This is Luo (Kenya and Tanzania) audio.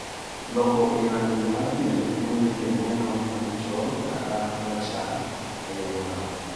Lokruok ei rangi mar pien mamiyo pien neno ma dichol kata marachar ei aluorano